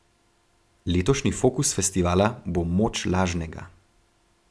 Letošnji fokus festivala bo Moč lažnega.